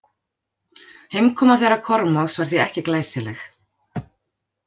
Heimkoma þeirra Kormáks var því ekki glæsileg.